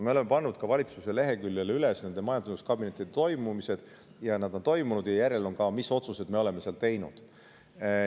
Me oleme pannud valitsuse veebileheküljele üles ka majanduskabineti toimumise ajad ja toimumise järel ka selle, mis otsuseid me oleme seal teinud.